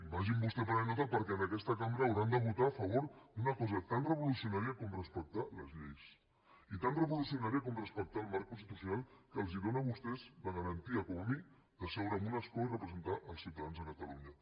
vagin vostès prenent nota perquè en aquesta cambra hauran de votar a favor d’una cosa tan revolucionària com respectar les lleis i tan revolucionària com respectar el marc constitucional que els dóna a vostès la garantia com a mi de seure en un escó i representar els ciutadans de catalunya